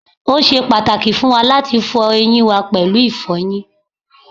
o ṣe pàtàkì fún wa láti fọ eyín wa pẹ̀lú ìfọyín